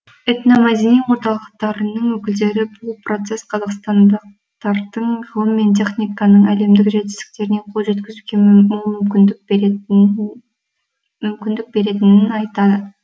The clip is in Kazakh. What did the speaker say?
этномәдени орталықтарының өкілдері бұл процесс қазақстандықтардың ғылым мен техниканың әлемдік жетістіктеріне қол жеткізуге мол мүмкіндік беретінін айтады